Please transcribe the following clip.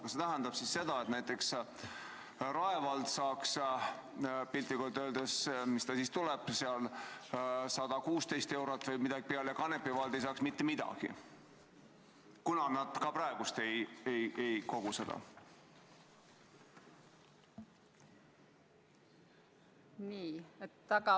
Kas see tähendab siis seda, et näiteks Rae vald saaks lapse pealt 116 eurot või midagi nii kompensatsiooni, aga Kanepi vald ei saaks mitte midagi, kuna nad ka praegu ei kogu seda tasu?